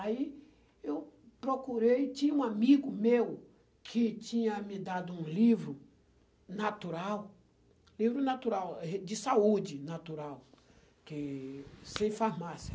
Aí eu procurei, tinha um amigo meu que tinha me dado um livro natural, livro natural, de saúde natural, que, sem farmácia.